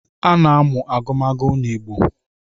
A na-amụ agụmagụ n’Igbo